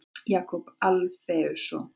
Jakob Alfeusson.